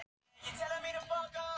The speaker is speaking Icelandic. Hvenær byrjaðir þú að spila fótbolta?